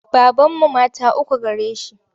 Babanmu mata uku gare shi.